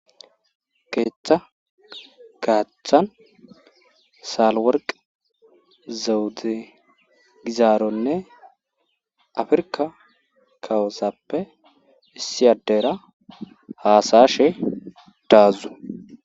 Keetha gaathan salworqqi zewde gizaaronne afirkka kawozappe issi addera haasa7ashe daazu.